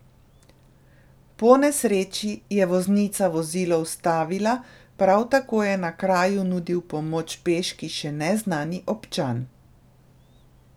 Po nesreči je voznica vozilo ustavila, prav tako je na kraju nudil pomoč peški še neznani občan.